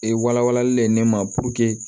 Ee walawalali de ye ne ma